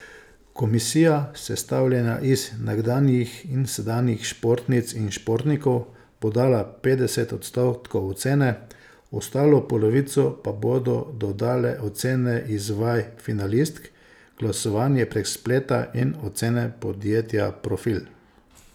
Komisija, sestavljena iz nekdanjih in sedanjih športnic in športnikov, bo dala petdeset odstotkov ocene, ostalo polovico pa bodo dodale ocene iz vaj finalistk, glasovanje prek spleta in ocena podjetja Profil.